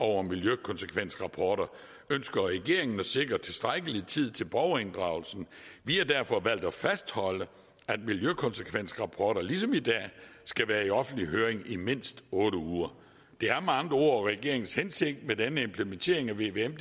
over miljøkonsekvensrapporter ønsker regeringen at sikre tilstrækkelig tid til borgerinddragelsen vi har derfor valgt at fastholde at miljøkonsekvensrapporter ligesom i dag skal være i offentlig høring i mindst otte uger det er med andre ord regeringens hensigt med denne implementering af vvm